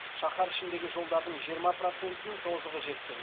шаһар ішіндегі жолдардың жиырма процентінің тозығы жеткен